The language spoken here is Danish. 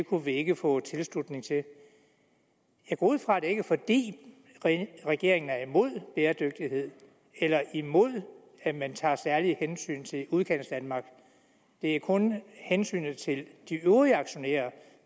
kunne vi ikke få tilslutning til jeg går ud fra at det ikke er fordi regeringen er imod bæredygtighed eller imod at man tager særlige hensyn til udkantsdanmark det er kun hensynet til de øvrige aktionærer